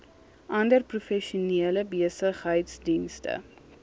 ander professionele besigheidsdienste